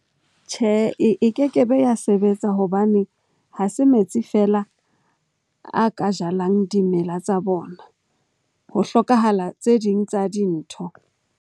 Tjhe, e keke be ya sebetsa hobane ha se metsi feela a ka jalang dimela tsa bona. Ho hlokahala tse ding tsa dintho.